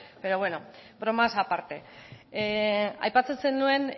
pero bueno bromas aparte aipatzen zenuen